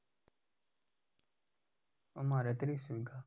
અમારે ત્રીસ વીઘા.